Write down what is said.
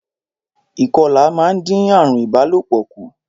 Ìkọlà máa ń dín àarùn ìbálòpọ̀ kù